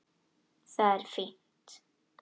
Það er fínt.